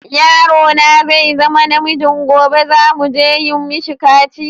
Yaro na zai zama na miji gobe, za mu je yi mishi kaciya.